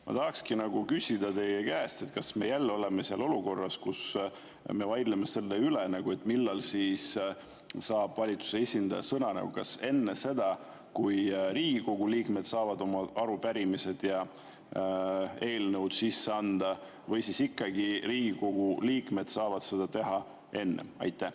Ma tahangi küsida teie käest, kas me jälle oleme selles olukorras, kus me vaidleme selle üle, millal saab valitsuse esindaja sõna: kas enne seda, kui Riigikogu liikmed saavad oma arupärimised ja eelnõud sisse anda, või siis ikkagi Riigikogu liikmed saavad seda enne teha?